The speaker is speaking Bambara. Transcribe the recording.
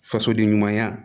Fasoden ɲumanya